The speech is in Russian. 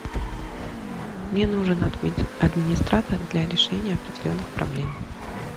мне нужен администратор для решения определенных проблем